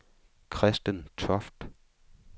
Kristen Toft